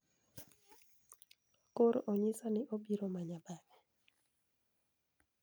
Koro onyisa ni obiro manya bang'e.